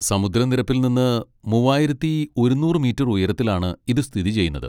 സമുദ്രനിരപ്പിൽ നിന്ന് മൂവായിരത്തി ഒരുന്നൂറ് മീറ്റർ ഉയരത്തിലാണ് ഇത് സ്ഥിതി ചെയ്യുന്നത്.